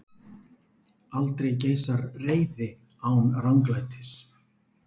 Aldrei geisar reiði án ranglætis.